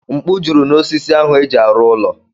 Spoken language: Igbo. Mkpu juru n'osisi ahụ eji arụ ụlọ.